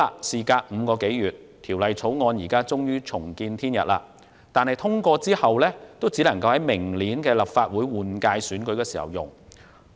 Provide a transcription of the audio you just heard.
事隔5個多月，《條例草案》終於重見天日，但即使獲得通過，也只能在明年的立法會換屆選舉中應用。